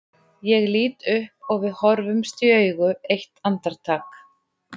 Ég lít upp og við horfumst í augu eitt andartak.